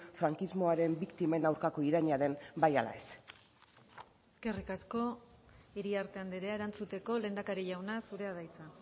frankismoaren biktimen aurkako iraina den bai ala ez eskerrik asko iriarte andrea erantzuteko lehendakari jauna zurea da hitza